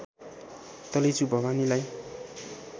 Taleju भवानीलाई